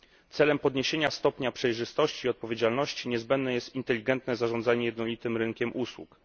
Celem podniesienia stopnia przejrzystości i odpowiedzialności niezbędne jest inteligentne zarządzanie jednolitym rynkiem usług.